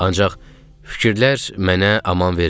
Ancaq fikirlər mənə aman vermirdi.